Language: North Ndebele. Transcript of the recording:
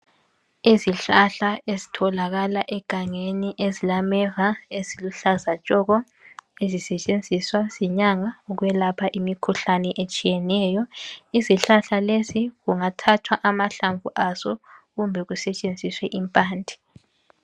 Izihlahla ezitholakala egangeni ezilameva eziluhlaza tshoko ezisetshenziswa zinyanga ukwelapha imikhuhlane etshiyeneyo. Izihlahla lesi kungathathwa amahlamvu aso kumbe kusetshenziswe impande.